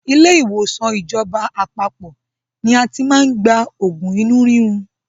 Ilé ìwòsàn ìjọba àpapọ̀ ni a ti máa ń gba oògùn inú rírun.